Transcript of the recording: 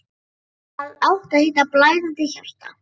Það átti að heita: Blæðandi hjarta.